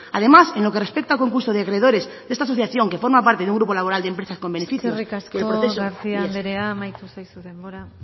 además en lo que respecta a concurso de acreedores de esta asociación que forma parte de un grupo laboral de empresas eskerrik asko garcía anderea amaitu zaizu denbora